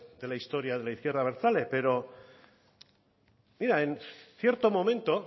de la historia de la izquierda abertzale pero mira en cierto momento